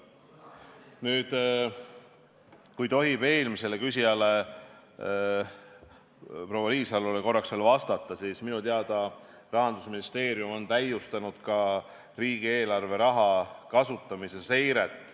Nüüd, kui tohib eelmisele küsijale, proua Riisalole korraks veel vastata, siis minu teada Rahandusministeerium on täiustanud ka riigieelarve raha kasutamise seiret.